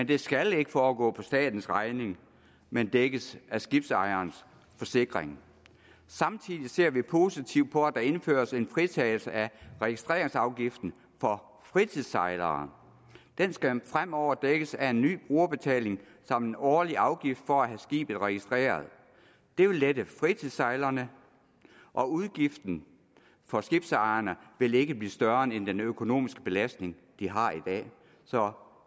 det skal ikke foregå på statens regning men dækkes af skibsejerens forsikring samtidig ser vi positivt på at der indføres en fritagelse af registreringsafgiften for fritidssejlere den skal fremover dækkes af en ny brugerbetaling samt en årlig afgift for at have skibet registreret det vil lette fritidssejlerne og udgiften for skibsejerne vil ikke blive større end den økonomiske belastning de har i dag så